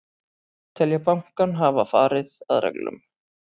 Telja bankann hafa farið að reglum